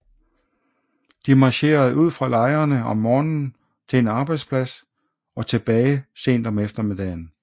De marcherede ud fra lejrene om morgenen til en arbejdsplads og tilbage sent om eftermiddagen